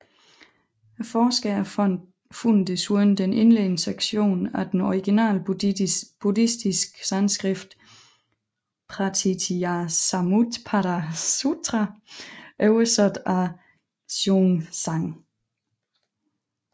Forskere fandt desuden den indledende sektion af den originale Buddhistiske Sanskrit Pratītyasamutpāda Sutra oversat af Xuanzang